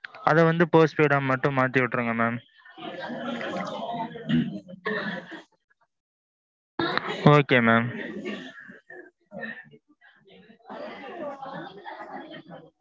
அது வந்து post paid டா மட்டும் மாத்தி விட்டுருங்க mam. okay mam.